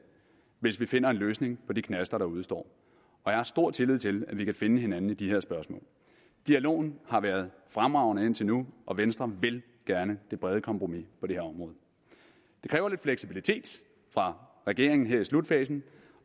hvis vi finder en løsning på de knaster der udestår og jeg har stor tillid til at vi kan finde hinanden i de her spørgsmål dialogen har været fremragende indtil nu og venstre vil gerne det brede kompromis på det her område det kræver lidt fleksibilitet fra regeringens side her i slutfasen